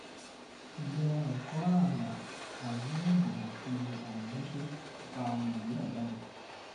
àìlera ẹkọ ààlà àìníàbò àti àìníṣẹ ń fa ọmọ nàìjíríà jáde